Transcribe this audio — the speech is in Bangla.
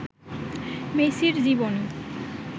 মেসির জীবনী